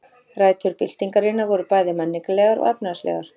Rætur byltingarinnar voru bæði menningarlegar og efnahagslegar.